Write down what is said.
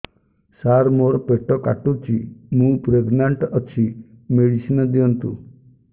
ସାର ମୋର ପେଟ କାଟୁଚି ମୁ ପ୍ରେଗନାଂଟ ଅଛି ମେଡିସିନ ଦିଅନ୍ତୁ